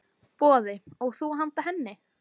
Boði: Og þú handa henni?